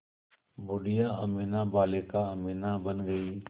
बूढ़िया अमीना बालिका अमीना बन गईं